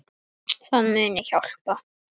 Það muni hjálpa.